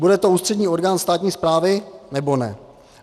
Bude to ústřední orgán státní správy, nebo ne?